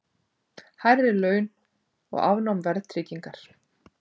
Hærri laun og afnám verðtryggingar